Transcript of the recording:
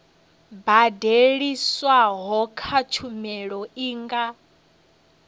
badeliswaho kha tshumelo i nga